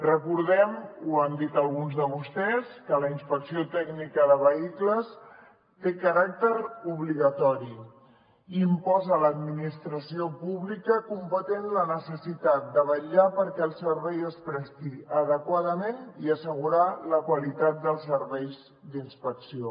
recordem ho han dit alguns de vostès que la inspecció tècnica de vehicles té caràcter obligatori i imposa a l’administració pública competent la necessitat de vetllar perquè el servei es presti adequadament i d’assegurar la qualitat dels serveis d’inspecció